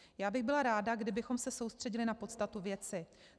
Já bych byla ráda, kdybychom se soustředili na podstatu věci.